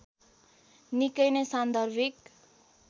निकै नै सान्दर्भिक